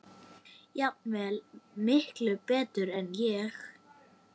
Jafnvel miklu betur en ég.